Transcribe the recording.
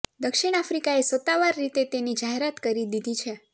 દક્ષિણ આફ્રિકાએ સત્તાવાર રીતે તેની જાહેરાત કરી દીધી છે